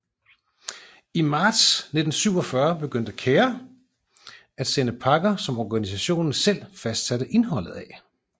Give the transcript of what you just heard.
I marts 1947 begyndte CARE at sende pakker som organisationen selv fastsatte indholdet af